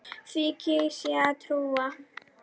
Því kýs ég að trúa.